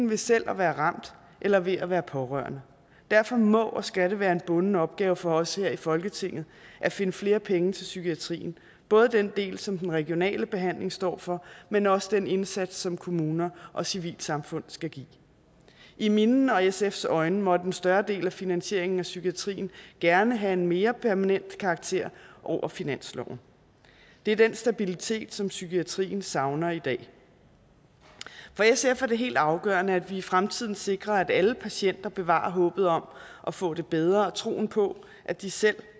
ved selv at være ramt eller ved at være pårørende derfor må og skal det være en bunden opgave for os her i folketinget at finde flere penge til psykiatrien både den del som den regionale behandling står for men også den indsats som kommuner og civilsamfund skal give i mine og sfs øjne måtte en større del af finansieringen af psykiatrien gerne have en mere permanent karakter over finansloven det er den stabilitet som psykiatrien savner i dag for sf er det helt afgørende at vi i fremtiden sikrer at alle patienter bevarer håbet om at få det bedre og troen på at de selv